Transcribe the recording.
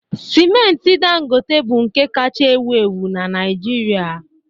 Sịmenti Dangote bụ nke kacha ewu ewu na Naịjirịa